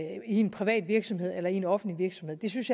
i en privat virksomhed eller i en offentlig virksomhed jeg synes